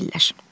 Gedirlər.